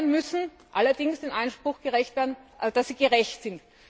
Steuern müssen allerdings dem Anspruch gerecht werden, dass sie gerecht sind.